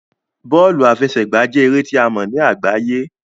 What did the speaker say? Bọọlu afẹsẹgba jẹ ere ti a mọ ni agbaye